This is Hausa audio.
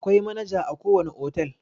Akwai manaja a ko wane otal.